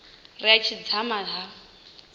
ri a tshi dzama ha